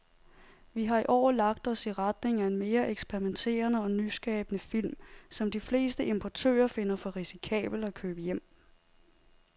Vi har i år lagt os i retning af mere eksperimenterede og nyskabende film, som de fleste importører finder for risikable at købe hjem.